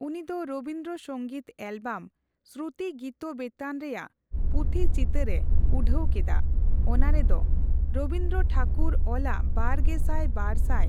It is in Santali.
ᱩᱱᱤ ᱫᱚ ᱨᱚᱵᱤᱱᱫᱽᱨᱚ ᱥᱚᱝᱜᱤᱛ ᱮᱞᱵᱟᱢ 'ᱥᱨᱩᱛᱤ ᱜᱤᱛᱵᱤᱛᱟᱱ ᱨᱮᱭᱟᱜ' ᱯᱩᱛᱷᱤ ᱪᱤᱛᱟᱹᱨ ᱮ ᱩᱰᱷᱟᱹᱣ ᱠᱮᱫᱟ ᱚᱱᱟ ᱨᱮᱫᱚ ᱨᱚᱵᱤᱱᱫᱽᱨᱚ ᱴᱷᱟᱠᱩᱨ ᱚᱞᱟᱜ ᱵᱟᱨᱜᱮᱥᱟᱭ ᱵᱟᱨᱥᱟᱭ